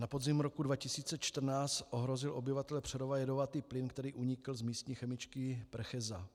Na podzim roku 2014 ohrozil obyvatele Přerova jedovatý plyn, který unikl z místní chemičky Precheza.